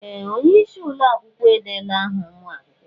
Ee! Onye isi ụlọ akwụkwọ edeela áhà ụmụ akwụkwọ.